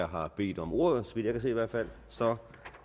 har bedt om ordet så vidt jeg kan se i hvert fald